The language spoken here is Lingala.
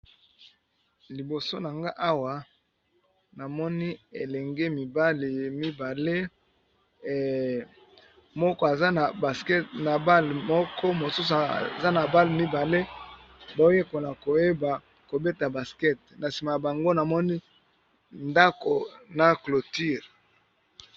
Liboso na nga awa namoni elenge mibali mibale moko aza na baskete na bale moko mosusu aza na bale mibale bao yekola koyeba kobeta baskete na sima na bango namoni ndako na cloture.